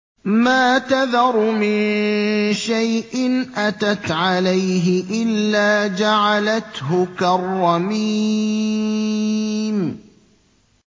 مَا تَذَرُ مِن شَيْءٍ أَتَتْ عَلَيْهِ إِلَّا جَعَلَتْهُ كَالرَّمِيمِ